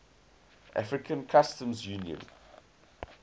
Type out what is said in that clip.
african customs union